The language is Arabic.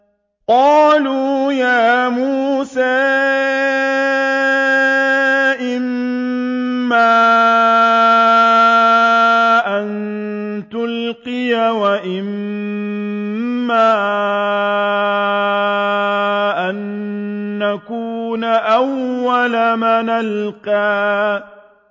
قَالُوا يَا مُوسَىٰ إِمَّا أَن تُلْقِيَ وَإِمَّا أَن نَّكُونَ أَوَّلَ مَنْ أَلْقَىٰ